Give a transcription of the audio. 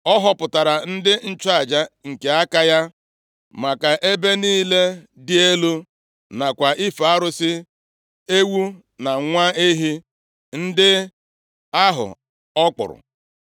Ọ họpụtara ndị nchụaja nke aka ya, maka ebe niile dị elu, nakwa ife arụsị ewu na nwa ehi ndị ahụ ọ kpụrụ.